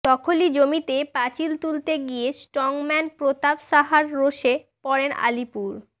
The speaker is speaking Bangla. দখলি জমিতে পাঁচিল তুলতে গিয়ে স্ট্রংম্যান প্রতাপ সাহার রোষে পড়েন আলিপুর